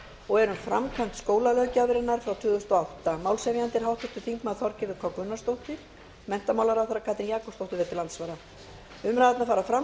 og er um framkvæmd skólalöggjafarinnar frá tvö þúsund og átta málshefjandi er háttvirtur þingmaður þorgerður k gunnarsdóttir menntamálaráðherra verður til andsvara umræðurnar fara fram